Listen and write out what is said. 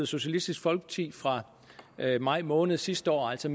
socialistisk folkeparti fra maj måned sidste år altså